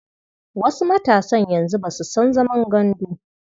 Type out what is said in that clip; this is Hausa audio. Wasu matasan yanzu ba su san zaman gandu.